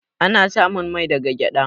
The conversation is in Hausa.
Ana samun mai daga gyaɗa.